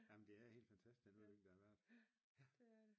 Jamen det er helt fantastisk den udvikling der har været